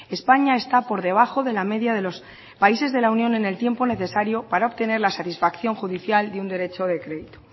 españa está por debajo de la media de los países de la unión en el tiempo necesario para obtener la satisfacción judicial de un derecho de